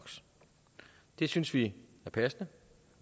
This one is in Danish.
det synes vi er passende